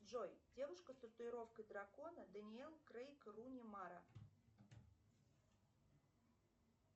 джой девушка с татуировкой дракона даниил крейг руни мара